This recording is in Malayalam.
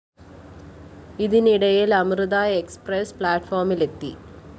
ഇതിനിടയില്‍ അമൃത എക്സ്പ്രസ്‌ പ്ലാറ്റ്‌ഫോമിലെത്തി